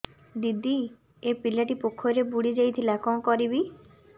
ଦିଦି ଏ ପିଲାଟି ପୋଖରୀରେ ବୁଡ଼ି ଯାଉଥିଲା କଣ କରିବି